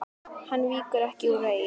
Hann víkur ekki úr vegi.